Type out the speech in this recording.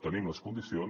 tenim les condicions